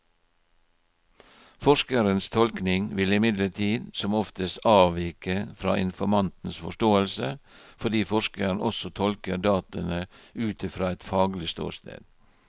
Forskerens tolkning vil imidlertid som oftest avvike fra informantens forståelse, fordi forskeren også tolker dataene ut fra et faglig ståsted.